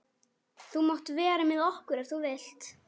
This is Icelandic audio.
Þú mátt vera með okkur ef þú vilt.